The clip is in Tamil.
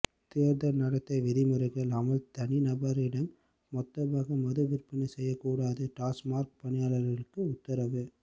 தேர்தல் நடத்தை விதிமுறைகள் அமல் தனி நபரிடம் மொத்தமாக மது விற்பனை செய்ய கூடாது டாஸ்மாக் பணியாளர்களுக்கு உத்தரவு